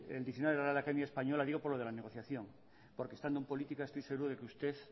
el diccionario de la real academia española digo por lo de la negociación porque estando en política estoy seguro de que usted